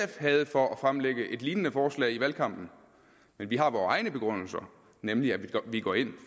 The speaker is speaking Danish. havde for at fremlægge et lignende forslag i valgkampen vi har vores egen begrundelse nemlig at vi går ind